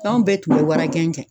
Anw bɛɛ tun bɛ wara jɛn kɛ.